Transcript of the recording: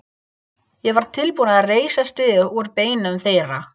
Ég var tilbúinn að reisa stiga úr beinum þeirra.